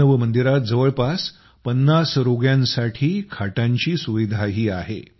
मानव मंदिरात जवळपास ५० रोग्यांसाठी खाटांची सुविधाही आहे